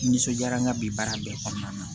N nisɔnjara n ka bi baara bɛɛ kɔnɔna na